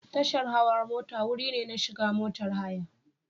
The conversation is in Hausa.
Tashar hawa mota wuri ne na shiga motar haya.